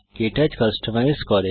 কে touch customise করে